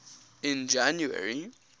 in january